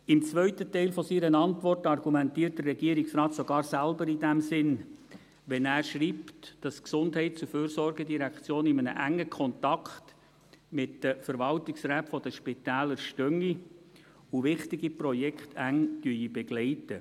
Im zweiten Teil seiner Antwort argumentiert der Regierungsrat sogar selber in diesem Sinn, wenn er schreibt, dass die GEF in engem Kontakt mit den Verwaltungsräten der Spitäler stehe und wichtige Projekte eng begleite.